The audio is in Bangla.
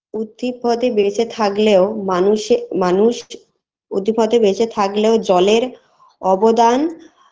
উথিপদে বেঁচে থাগলেও মানুষের মানুষ উথিপদে বেঁচে থাগলেও জলের অবদান